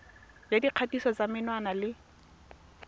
ya dikgatiso tsa menwana le